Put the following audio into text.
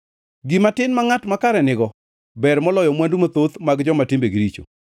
Gima tin ma ngʼat makare nigo ber moloyo mwandu mathoth mag joma timbegi richo;